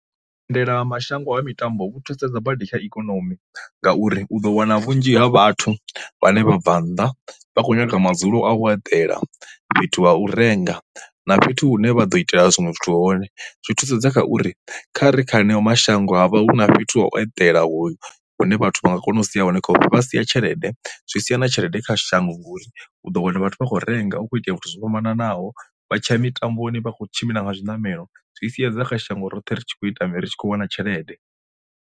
Vhuendelamashango ha mitambo vhu thusedza badi kha ikonomi ngauri u ḓo wana vhunzhi ha vhathu vhane vha bva nnḓa vha khou nyaga madzulo a u eḓela, fhethu ha u renga, na fhethu hune vha ḓo itela zwinwe zwithu hone. Zwi thusedza kha uri kha ri kha heneyo mashango huvha hu na fhethu ha u eḓela hoyu hune vhathu vha nga kona u sia hone vha sia tshelede zwi sia na tshelede kha shango ngauri u ḓo wana vhathu vha khou renga u khou itea zwithu zwo fhambananaho vha tsha mitamboni vha kho tshimbila nga zwiṋamelo, zwi siedza kha shango roṱhe ri tshi khou ita mini ri tshi khou wana tshelede.